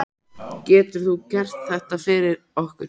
Getur þú gert þetta fyrir okkur?